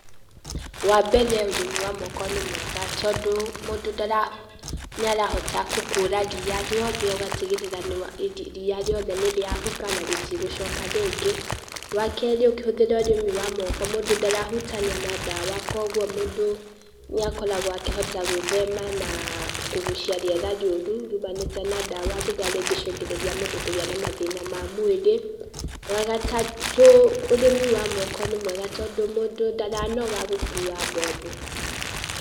Wa mbere, ũrĩmi wa moko nĩ mwega, tondũ mũndũ ndara nĩ arahota gũkũra ria rĩothe ũgatigĩrĩra nĩ wa ria riothe nĩriahuka na ritũgucoka rĩngĩ. Wa kerĩ ũkihũthĩra ũrĩmi wa moko, mũndũ ndarahutania na ndawa kogwo mũndũ nĩakoragwo akĩhota gwĩthema na, kũgũcia rĩera rĩũrũ riũmanĩte na ndawa rĩrĩa rĩngĩcũngĩrĩria mũndũ kũgĩa na mathĩna ma mwĩrĩ. Wa gatatu, ũrĩmĩ wa moko nĩ mwega tondũ mũndũ ndaranoga gũkua mbombo.